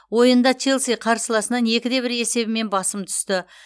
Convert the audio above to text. ойында челси қарсыласынан екі де бір есебімен басым түсті